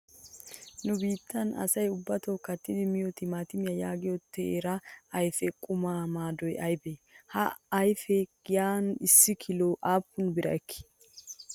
Nu biittan asayi ubbato kattidi miyoo timatimiyaa yaagiyoo teera ayipe qumawu maadoyi ayibee? Ha ayipee giyan issi kiloyi aappun bira ekkii?